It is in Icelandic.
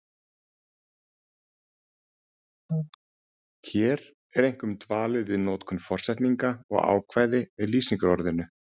Hér er einkum dvalið við notkun forsetninga og ákvæði með lýsingarorðinu.